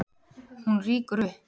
Hún rýkur upp.